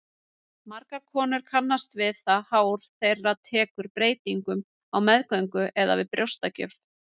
Margar konur kannast við það hár þeirra tekur breytingum á meðgöngu eða við brjóstagjöf.